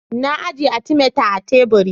Na ajiye "Artimeter " a teburi.